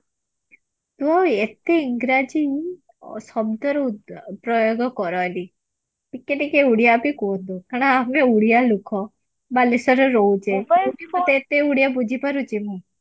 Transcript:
ତୁ ଏତେ ଇଂରାଜୀ ଶବ୍ଦର ପ୍ରୟୋଗ କରନି ଟିକେ ଟିକେ ଓଡିଆ ବି କୁହ କାରଣ ଆମେ ଓଡିଆ ଲୁକ ବାଲେଶ୍ବରରେ ରହୁଚେ ଓଡିଆ ବୁଝି ପାରୁଛି ମୁଁ